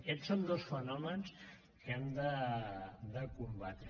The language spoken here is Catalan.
aquests són dos fenòmens que hem de combatre